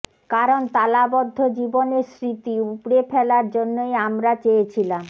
কারণ তালাবদ্ধ জীবনের স্মৃতি উপড়ে ফেলার জন্যই আমরা চেয়েছিলাম